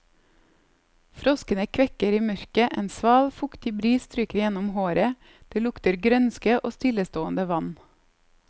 Froskene kvekker i mørket, en sval, fuktig bris stryker gjennom håret, det lukter grønske og stillestående vann.